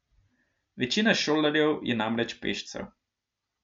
Večina šolarjev je namreč pešcev.